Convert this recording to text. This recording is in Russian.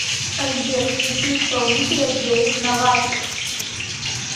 сбер включи исполнителя дэвид новачек